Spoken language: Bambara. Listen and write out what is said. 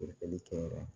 Furakɛli kɛ yɔrɔ la